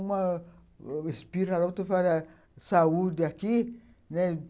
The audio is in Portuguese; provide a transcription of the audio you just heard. Uma espira lá, outra fala, saúde aqui, né.